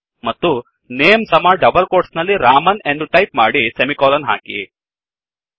ಮತ್ತು ನೇಮ್ ಸಮ double quotes ನಲ್ಲಿ ರಾಮನ್ ಎಂದು ಟೈಪ್ ಮಾಡಿ ಸೆಮಿಕೋಲನ್ ಹಾಕಿ